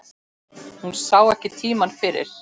Hún sá ekki tímann fyrir.